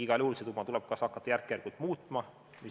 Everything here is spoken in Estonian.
Igal juhul tuleb seda summat hakata järk-järgult muutma.